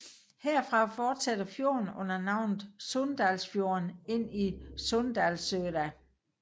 Herfra fortsætter fjorden under navnet Sunndalsfjorden ind til Sunndalsøra